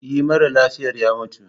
E, mara lafiyar ya mutu.